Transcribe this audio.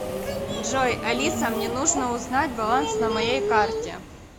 джой алиса мне нужно узнать баланс на моей карте